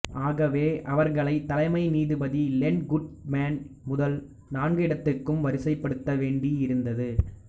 ஆகவே அவர்களை தலைமை நீதிபதி லென் குட்மேன் முதல் நான்கு இடத்துக்கும் வரிசைப்படுத்தவேண்டி இருந்தது